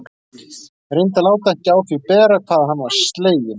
Reyndi að láta ekki á því bera hvað hann var sleginn.